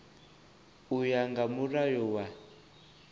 u ya nga mulayo wa